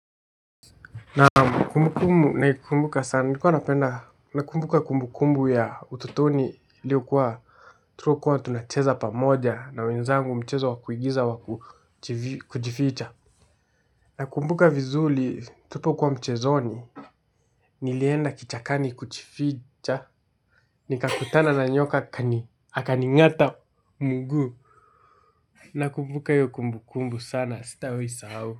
Naam kumbubkumbu na kumbuka sana nilikuwa napenda na kumbuka kumbukumbu ya utotoni iliyo kuwa tulikuwa tunacheza pamoja na wenzangu mchezo wa kuigiza wa kujificha. Nakumbuka vizuri tulipokuwa mchezoni. Nilienda kichakani kujificha. Nikakutana na nyoka akaning'ata mguu. Nakumbuka hiyo kumbukumbu sana sitawaisahau.